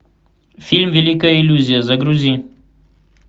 фильм великая иллюзия загрузи